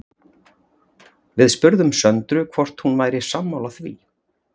Við spurðum Söndru hvort hún væri sammála því?